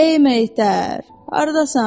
Ey meyitər, hardasan?